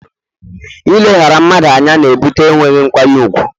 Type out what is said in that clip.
Ileghara mmadụ anya na ebute enweghị nkwanye ùgwù